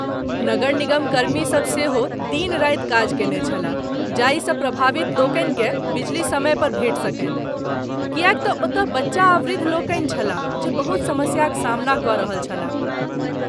नगर निगमकर्मी सभ सेहो दिन राति काज कएने छलाह, जाहिसँ प्रभावित लोकनिकेँ बिजली समयपर भेटि सकनि, किएक तँ ओतय बच्चा आ वृद्ध लोकनि छलाह जे बहुत समस्याक सामना कऽ रहल छलाह।